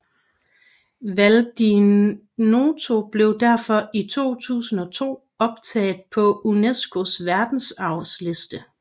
Val di Noto blev derfor i 2002 optaget på UNESCOs verdensarvsliste